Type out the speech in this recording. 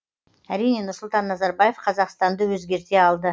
әрине нұрсұлтан назарбаев қазақстанды өзгерте алды